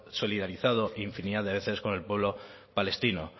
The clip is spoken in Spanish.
solidarizado infinidad de veces con el pueblo palestino